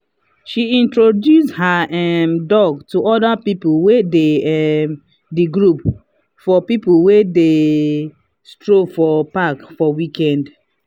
she introduce her um dog to other people wey dey um the group for people wey dey stroll for park for weekend.